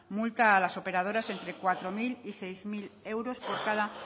multa a las operadoras entre cuatro mil y seis mil euros por cada